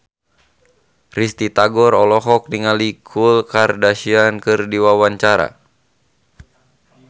Risty Tagor olohok ningali Khloe Kardashian keur diwawancara